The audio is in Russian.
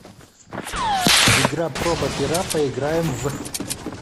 игра пробапера поиграем в